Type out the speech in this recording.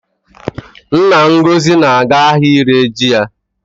Nna Ngozi na-aga ahịa ire ji ya